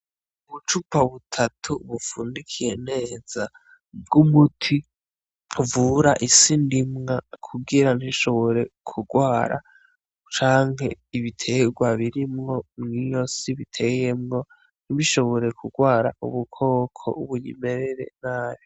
Ubucupa butatu bupfundikiye neza bw'umuti uvura isi ndimwa kugira ntishobore kugwara canke ibiterwa birimwo mwiyo si biteyemwo ntibishobore kugwara ubukoko buyimerere nabi.